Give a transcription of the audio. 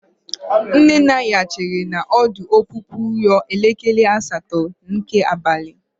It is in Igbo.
Nne na nna ya chere na ọdụ ọpụpụ ruo elekere asatọ nke abalị.